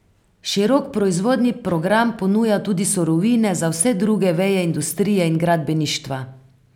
Širok proizvodni program ponuja tudi surovine za vse druge veje industrije in gradbeništva.